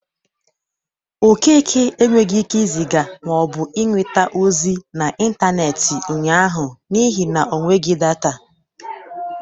Okeke enwegi ike ịzịga ma ọ bụ nweta ozi n'intaneeti ụnyaahụ n'ihi na o nweghi data.